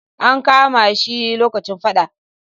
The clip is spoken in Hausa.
An kama shi lokacin faɗa.